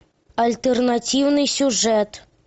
альтернативный сюжет